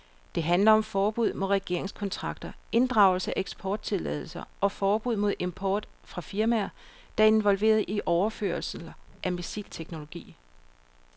Det handler om forbud mod regeringskontakter, inddragelse af eksporttilladelser og forbud mod import fra firmaer, der er involveret i overførelser af missilteknologi.